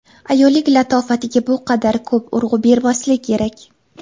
Ayollik latofatiga bu qadar ko‘p urg‘u bermaslik kerak.